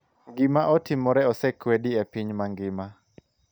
Gima otimore osekwedi e piny mangima,